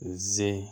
Zi